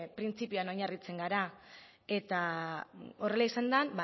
printzipioan oinarritzen gara eta horrela izan den